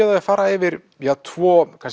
á því að fara yfir tvo